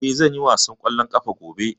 Eh, zan yi wasan kwallon kafa gobe.